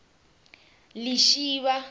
lishivha